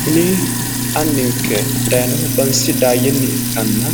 Kuni anninke daayenoohu bansa daayyenni ikkanna